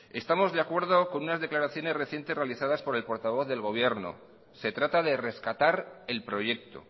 estamos de acuerdo con una declaraciones recientes realizadas por el portavoz del gobierno se trata de rescatar el proyecto